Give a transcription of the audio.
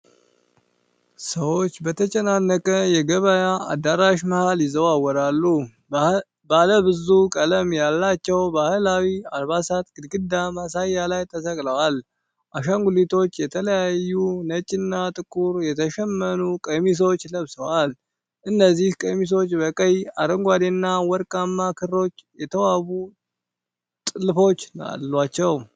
ሰዎች በተጨናነቀ የገበያ አዳራሽ መሀል ይዘዋወራሉ። ባለ ብዙ ቀለም ያላቸው ባህላዊ አልባሳት ግድግዳና ማሳያ ላይ ተሰቅለዋል። አሻንጉሊቶቹ የተለያዩ ነጭና ጥቁር የተሸመኑ ቀሚሶች ለብሰዋል፤ እነዚህ ቀሚሶች በቀይ፣ አረንጓዴና ወርቃማ ክሮች የተዋቡ ጥልፎች አሏቸው።